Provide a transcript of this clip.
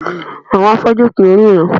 Àwọn afọ́jú kì í ríran